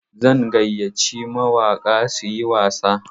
Zan gayyaci mawaƙa su yi wasa.